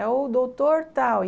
É o doutor tal.